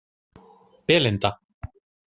Belinda